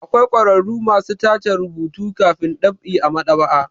Akwai ƙwararru masu tace rubutu kafin ɗab'i a maɗ'aba'a.